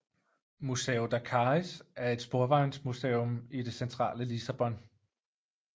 Museu da Carris er et sporvejsmuseum i det centrale Lissabon